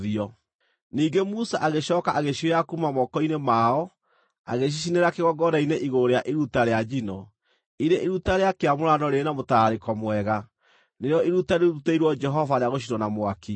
Ningĩ Musa agĩcooka agĩcioya kuuma moko-inĩ mao, agĩcicinĩra kĩgongona-inĩ igũrũ rĩa iruta rĩa njino, irĩ iruta rĩa kĩamũrano rĩrĩ na mũtararĩko mwega, nĩrĩo iruta rĩrutĩirwo Jehova rĩa gũcinwo na mwaki.